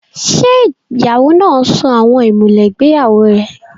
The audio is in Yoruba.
Ṣé ìyàwó náà sọ àwọn ìmùlẹ̀ ìgbéyàwó rẹ̀?